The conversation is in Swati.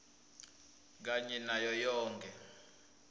kanye nayo yonkhe